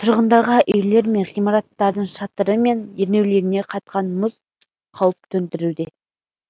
тұрғындарға үйлер мен ғимараттардың шатыры мен ернеулеріне қатқан мұз қауіп төндіруде